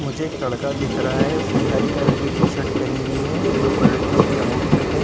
मुझे एक लड़का दिख रहा है। उसने हरी कलर की टी-शर्ट पहनी हुई है। ब्लू कलर की उसकी आउटफिट है।